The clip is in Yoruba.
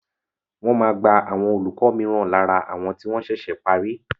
Wọ́n máa gba àwọn olùkọ́ mìíràn lára àwọn tí wọ́n ṣẹ̀ṣẹ̀ parí.